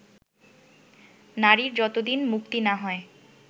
নারীর যতদিন মুক্তি না হয়